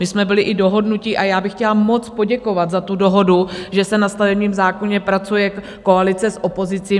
My jsme byli i dohodnutí a já bych chtěla moc poděkovat za tu dohodu, že se na stavebním zákoně pracuje, koalice s opozicí.